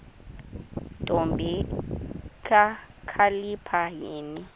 ntombi kakhalipha yini